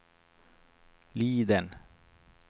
Liden